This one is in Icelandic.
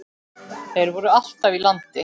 Þeir voru alltaf í landi.